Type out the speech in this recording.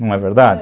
Não é verdade?